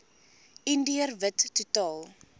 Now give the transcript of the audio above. indiër wit totaal